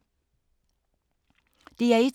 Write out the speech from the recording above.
DR1